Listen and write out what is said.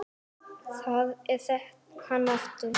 Það er hann aftur!